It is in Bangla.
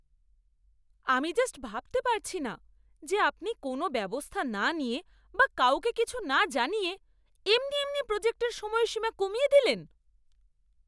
আমি জাস্ট ভাবতে পারছি না যে আপনি কোনো ব্যবস্থা না নিয়ে বা কাউকে কিছু না জানিয়ে এমনি এমনি প্রজেক্টের সময়সীমা কমিয়ে দিলেন!